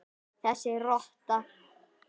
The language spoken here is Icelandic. Þessi rotta!